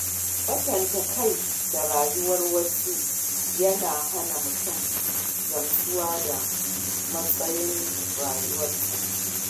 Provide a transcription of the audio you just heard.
Kwatanta kai da rayuwar wasu yana hana mutum gamsuwa da matsayin rayuwarsa